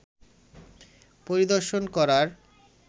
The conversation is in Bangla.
পরিদর্শন করার